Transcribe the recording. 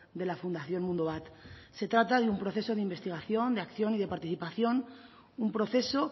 de la fundación mundubat se trata de un proceso de investigación de acción y de participación un proceso